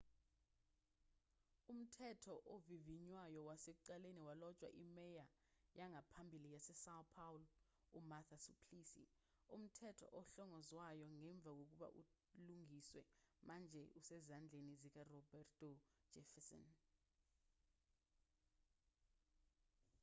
umthetho ovivinywayo wasekuqaleni walotshwa imeya yangaphambili yasesão paulo umarta suplicy. umthetho ohlongozwayo ngemva kokuba ulungiswe manje usezandleni zikaroberto jefferson